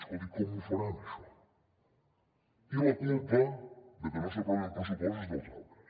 escolti com ho faran això i la culpa de que no s’aprovi un pressupost és dels altres